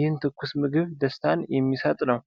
ይህ ትኩስ ምግብ ደስታን የሚሰጥ ነው።